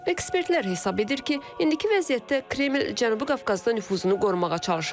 Ekspertlər hesab edir ki, indiki vəziyyətdə Kreml Cənubi Qafqazda nüfuzunu qorumağa çalışır.